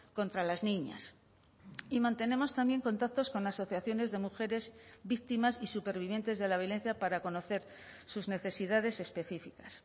contra las niñas y mantenemos también contactos con asociaciones de mujeres víctimas y supervivientes de la violencia para conocer sus necesidades específicas